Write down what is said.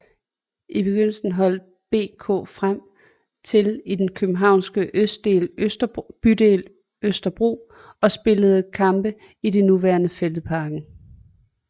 I begyndelsen holdt BK Frem til i den københavnske bydel Østerbro og spillede kampe i det nuværende Fælledparken